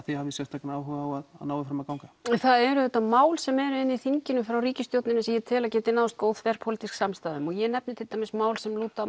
þið hafið sérstakan áhuga á að nái fram að ganga það eru auðvitað mál sem eru inni í þinginu frá ríkisstjórninni sem ég tel að geti náðst góð þverpólitísk samstaða um og ég nefni til dæmis mál sem lúta